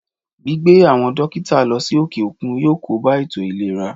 Gbígbé àwọn dókítà lọ sí òkè òkun yọ kóbá ètò ìlera